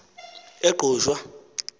engqushwa